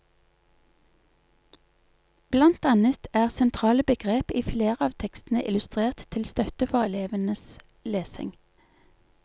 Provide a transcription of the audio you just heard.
Blant annet er sentrale begrep i flere av tekstene illustrert til støtte for elevens lesing.